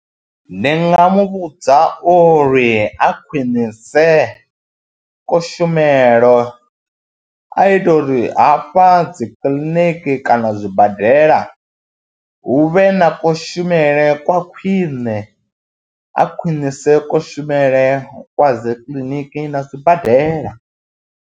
Ndi nga mu vhudza uri a khwinise kushumele, a ite uri hafha dzi kiḽiniki kana zwi zwibadela hu vhe na kushumele kwa khwine, a khwinise kushumele kwa dzi kiḽiniki na sibadela.